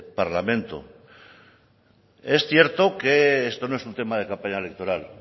parlamento es cierto que esto no es un tema de campaña electoral